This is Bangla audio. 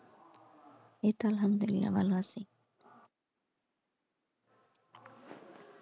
এই তো আলহামদুলিল্লা ভালো আছি।